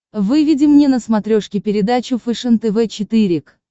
выведи мне на смотрешке передачу фэшен тв четыре к